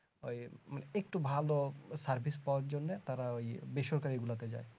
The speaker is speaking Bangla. ওই একটু ভালো service পওয়ার জন্যে তারা ওই বেসরকারি গুলোতে যাই